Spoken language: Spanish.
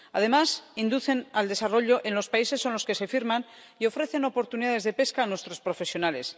Además, inducen al desarrollo en los países con los que se firman y ofrecen oportunidades de pesca a nuestros profesionales.